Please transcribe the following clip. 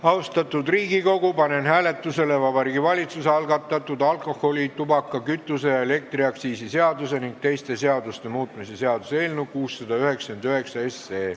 Austatud Riigikogu, panen hääletusele Vabariigi Valitsuse algatatud alkoholi-, tubaka-, kütuse- ja elektriaktsiisi seaduse ning teiste seaduste muutmise seaduse eelnõu 699.